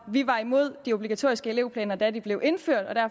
var imod de obligatoriske elevplaner da de blev indført